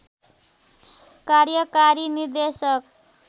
कार्यकारी निर्देशक